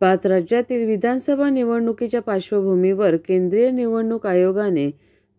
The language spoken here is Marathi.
पाचराज्यातील विधानसभा निवडणुकीच्या पार्श्वभूमीवर केंद्रीय निवडणूक आयोगाने